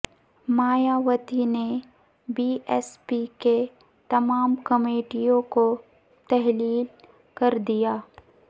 مایاوتی نے B S P کی تمام کمیٹیوں کو تحلیل کر دیا